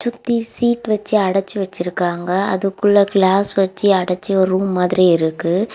தி seat வச்சு அடச்சு வச்சிருக்காங்க. அதுக்குள்ள கிளாஸ் வச்சு அடிச்சு ஒரு ரூம் மாதிரி இருக்கு.